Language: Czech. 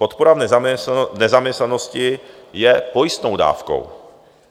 Podpora v nezaměstnanosti je pojistnou dávkou.